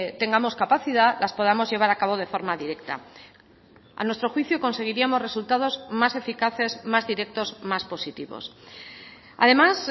tengamos capacidad las podamos llevar a cabo de forma directa a nuestro juicio conseguiríamos resultados más eficaces más directos más positivos además